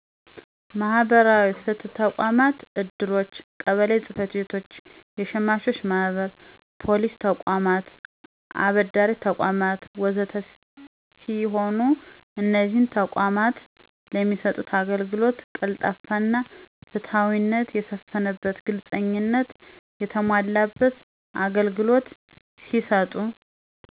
መህበራዊ ፍትህ ተቋማት፣ እድሮች፣ ቀበሌ ጸጽቤቶች፣ የሸማቾች ማህበር፣ ፖሊስ ተቋማት፣ አበዴሪተቋማት፣ ወዘተ ሰሲሆኑ እነዚህ ተቋማት ለሚሰጡት አገልግሎት ቀልጣፋና ፍትሀዊነት የሰፈነበት፣ ግልጽኝነት የተሞላበት አገልግሎት ቢሰጡ።